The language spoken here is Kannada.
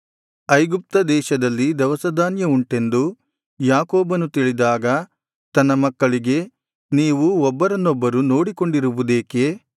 ಐಗುಪ್ತ ದೇಶದಲ್ಲಿ ದವಸಧಾನ್ಯವುಂಟೆಂದು ಯಾಕೋಬನು ತಿಳಿದಾಗ ತನ್ನ ಮಕ್ಕಳಿಗೆ ನೀವು ಒಬ್ಬರನ್ನೊಬ್ಬರು ನೋಡಿಕೊಂಡಿರುವುದೇಕೆ